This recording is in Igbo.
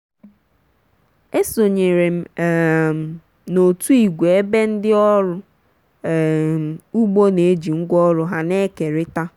esonyere m um n'òtù igwe ebe ndị ọrụ um ugbo na-eji ngwaọrụ ha na-ekerịta.